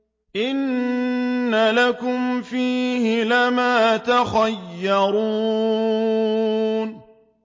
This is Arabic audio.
إِنَّ لَكُمْ فِيهِ لَمَا تَخَيَّرُونَ